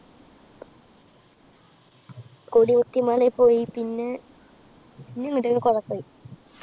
കൊടികുത്തിമലെ പോയി. പിന്നെ കൊറേ പോയ്‌.